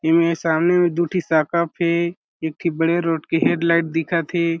ए मे सामने में दु ठी शॉक उप के एक ठी बड़े रोट के हेडलाइट दिखत हे।